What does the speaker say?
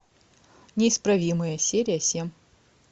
неисправимые серия семь